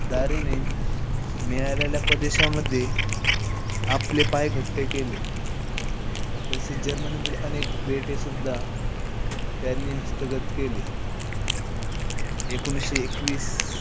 दारीने मिळालेल्या प्रदेशामध्ये आपले पाय घट्ट केले. तसेच जर्मनीतील अनेक बेटे सुद्धा त्यांनी हस्तगत केले. एकोणीशे एकवीस,